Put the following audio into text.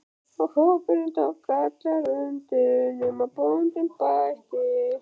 Og hópurinn tók allur undir: nema bóndinn bætti.